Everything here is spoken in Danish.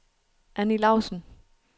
Annie Lausen